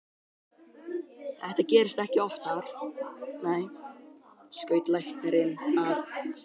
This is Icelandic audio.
Þetta gerist ekki oftar, nei, skaut læknirinn að.